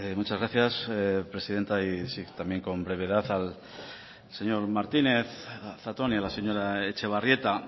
muchas gracias presidenta y sí también con brevedad al señor martínez zatón y a la señora etxebarrieta